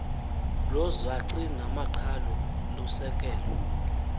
lwozaci namaqhalo lusekelwe